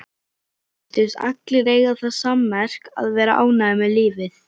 Virtust allir eiga það sammerkt að vera ánægðir með lífið.